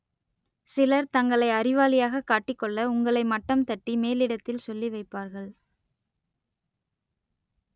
சிலர் தங்களை அறிவாளியாக காட்டிக் கொள்ள உங்களை மட்டம் தட்டி மேலிடத்தில் சொல்லி வைப்பார்கள்